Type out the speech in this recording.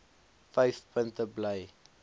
vyf punte bly